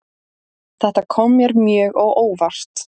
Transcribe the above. Þetta kom mér mjög á óvart